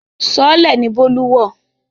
Sọọ́lẹ̀ ni Bólú wọ̀